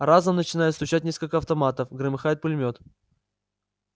разом начинают стучать несколько автоматов громыхает пулемёт